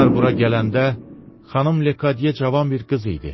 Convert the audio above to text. Onlar bura gələndə Xanım Lekadye cavan bir qız idi.